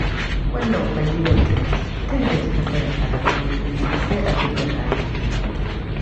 Wannan kwalliyar taki tun da kika tsaya a gaban madubi sai abinda hali ya yi.